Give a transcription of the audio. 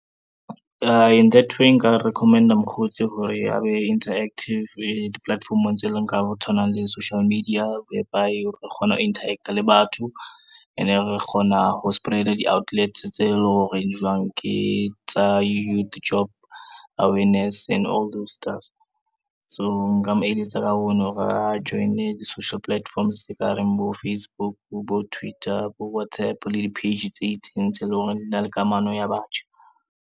In that way nka recommend-a mokgotsi hore a be interactive le di-platform-ong tse leng nka tshwanang le social media re kgona ho interact le batho ene re kgona ho spread-a di-outlets tse leng horeng jwang ke tsa youth job awareness and all those stuffs. So nka mo eletsa ka hono hore a join-e di-social platforms tse ka reng bo Facebook, bo Twitter, bo WhatsApp le di-page tse itseng tse leng hore di na le kamano ya batjha.